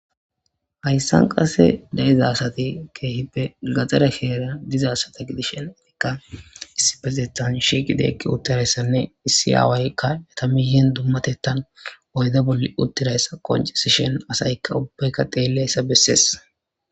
Hayssan qase da7eza sati keehippe gaxara keera diza sata gidishenikka issi bexethan shi qidi uttirayssanne issi aawaykka yatamihen dummatettan oyde bolli uttirayssa qoncisishen asaykka ubbeykka xeelleyssa bessees.